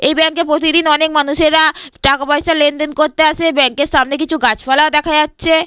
এই ব্যাঙ্কে প্রতিদিন অনেক মানুষেরা টাকা পয়সা লেনদেন করতে আসে। ব্যাঙ্ক এর সামনে কিছু গাছপালা ও দেখা যাচ্ছে।